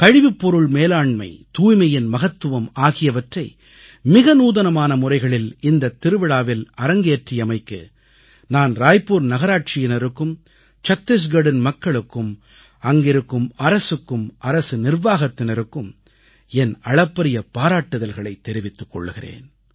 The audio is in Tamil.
கழிவுப்பொருள் மேலாண்மை தூய்மையின் மகத்துவம் ஆகியவற்றை மிக நூதனமான முறைகளில் இந்தத் திருவிழாவில் அரங்கேற்றியமைக்கு நான் ராய்புர் நகராட்சியினருக்கும் சத்தீஸ்கரின் மக்களுக்கும் அங்கிருக்கும் அரசுக்கும் அரசு நிர்வாகத்தினருக்கும் என் அளப்பரிய பாராட்டுதல்களைத் தெரிவித்துக் கொள்கிறேன்